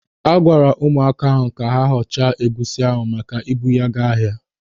A gwara ụmụaka ahụ ka ha họchaa egusi ahụ maka ibu ya ga ahịa.